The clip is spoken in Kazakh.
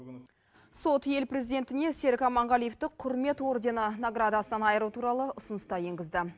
сот ел президентіне серік аманғалиевті құрмет ордені наградасынан айыру туралы ұсыныс та енгізді